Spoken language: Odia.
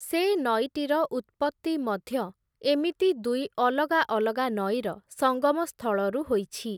ସେ ନଈଟିର ଉତ୍ପତ୍ତି ମଧ୍ୟ, ଏମିତି ଦୁଇ ଅଲଗା ଅଲଗା ନଈର ସଙ୍ଗମସ୍ଥଳରୁ ହୋଇଛି ।